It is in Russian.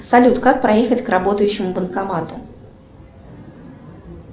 салют как проехать к работающему банкомату